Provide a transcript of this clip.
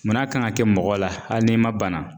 Munn'a kan ŋa kɛ mɔgɔ la hali n'i ma bana?